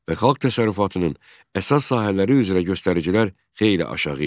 Və xalq təsərrüfatının əsas sahələri üzrə göstəricilər xeyli aşağı idi.